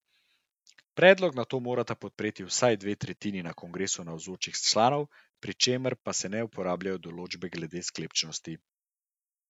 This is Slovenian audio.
Predlog nato morata podpreti vsaj dve tretjini na kongresu navzočih članov, pri čemer pa se ne uporabljajo določbe glede sklepčnosti.